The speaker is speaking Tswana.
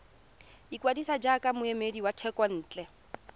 ikwadisa jaaka moemedi wa thekontle